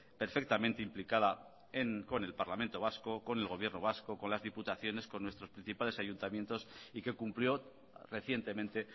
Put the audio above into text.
perfectamente implicada con el parlamento vasco con el gobierno vasco con las diputaciones con nuestros principales ayuntamientos y que cumplió recientemente